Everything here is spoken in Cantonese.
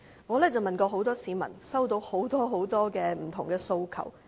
我問過很多市民，接獲很多不同訴求。